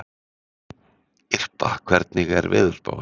Irpa, hvernig er veðurspáin?